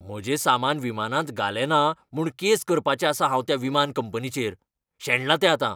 म्हजें सामान विमानांत घालेंना म्हूण केस करपाचें आसां हांव त्या विमानाचे कंपनीचेर. शेणलां तें आतां.